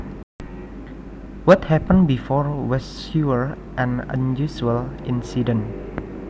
What happened before was sure an unusual incident